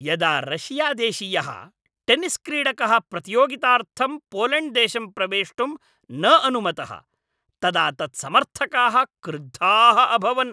यदा रशियादेशीयः टेनिस्क्रीडकः प्रतियोगितार्थं पोलेण्ड्देशं प्रवेष्टुं न अनुमतः तदा तत्समर्थकाः क्रुद्धाः अभवन्।